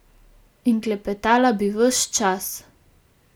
In klepetala bi ves čas.